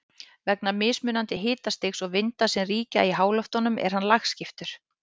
Vegna mismunandi hitastigs og vinda sem ríkja í háloftunum er hann lagskiptur.